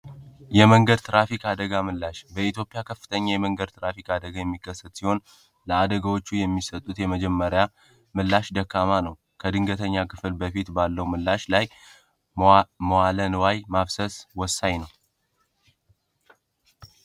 የመንገድ ትራፊክ አደጋ ምላሽ በኢትዮጵያ ከፍተኛ የመንገድ ትራፊክ አደጋ የሚከሰት ሲሆን ለአደጋዎቹ የሚሰጡት የመጀመሪያ ምላሽ ደካማ ነው። ከድንገተኛ ክፍል በፊት ባለው ምላሽ ላይ ሞዋለንዋይ ማብሰስ ወሳኝ ነው።